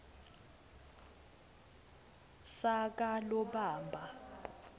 sakalobamba